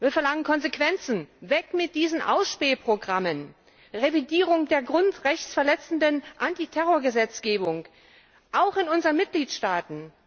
Wir verlangen Konsequenzen weg mit diesen Ausspähprogrammen, Revidierung der grundrechtsverletzenden Antiterrorgesetzgebung auch in unseren Mitgliedstaaten!